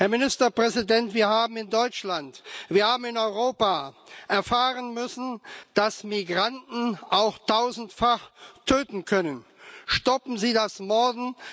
Herr Ministerpräsident, wir haben in Deutschland, wir haben in Europa erfahren müssen, dass Migranten auch tausendfach töten können. Stoppen Sie das Morden!